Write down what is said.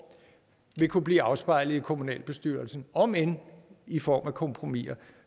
vil kunne blive afspejlet i kommunalbestyrelsen omend i form af kompromiser